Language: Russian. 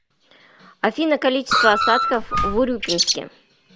афина количество осадков в урюпинске